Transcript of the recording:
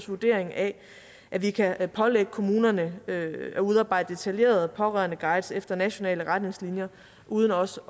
vurdering af at vi kan pålægge kommunerne at udarbejde detaljerede pårørendeguides efter nationale retningslinjer uden også